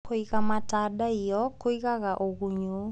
Kũiga matandaiyo kũigaga ũgunyu.